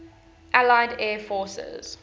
allied air forces